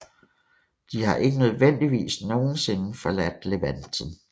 De har ikke nødvendigvis nogensinde forladt Levanten